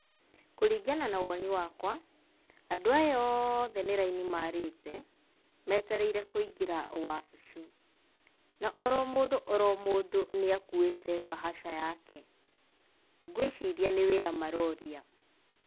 Kũringana na woni wakwa, andũ aya othe nĩ raini maarĩte, metereire kũingĩra wabici. Na oro mũndũ oro mũndũ nĩakuĩte bahaca yake, ngwĩciria nĩ wĩra maroria.